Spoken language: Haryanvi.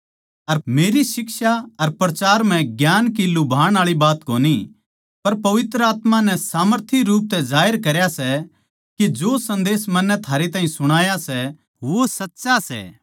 अर मेरी शिक्षा अर प्रचार म्ह ज्ञान की लुभाणआळी बात कोनी पर पवित्र आत्मा नै सामर्थी रूप तै जाहिर करया सै के जो सन्देस मन्नै थारे ताहीं सुणाया सै वो सच्चा सै